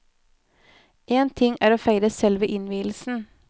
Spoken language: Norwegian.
En ting er å feire selve innvielsen.